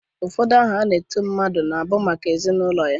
Ụfọdụ aha a na-eti mmadụ na-abụ maka ezi na ụlọ ya.